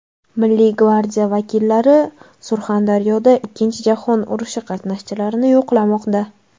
Milliy gvardiya vakillari Surxondaryoda Ikkinchi jahon urushi qatnashchilarini yo‘qlamoqda.